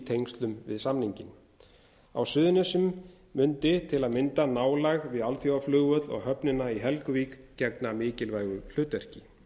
tengslum við samninginn á suðurnesjum mundi til að mynda nálægð við alþjóðaflugvöll og höfnina í helguvík gegna mikilvægu hlutverki